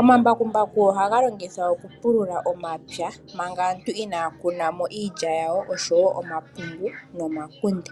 Omambakumbaku ohaga longithwa oku pulula omapya manga aantu inaya kuna mo iilya yawo, omapungu nomakunde.